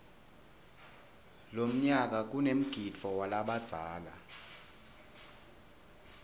lomnyala kanemgidvo walabadzala